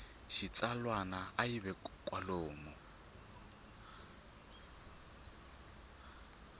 xitsalwana a yi ve kwalomu